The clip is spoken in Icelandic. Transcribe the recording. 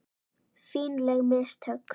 Fínleg mistök.